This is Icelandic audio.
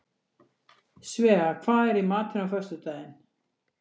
Svea, hvað er í matinn á föstudaginn?